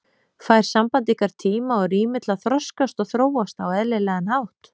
Fær samband ykkar tíma og rými til að þroskast og þróast á eðlilegan hátt?